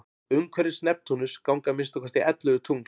umhverfis neptúnus ganga að minnsta kosti ellefu tungl